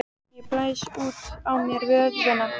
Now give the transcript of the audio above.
Ég blæs út á mér vöðvana.